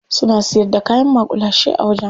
Suna siyar da kayan maƙulashe a wajen.